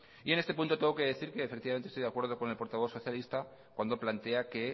y en este punto tengo que decir que efectivamente estoy de acuerdo con el portavoz socialista cuando plantea que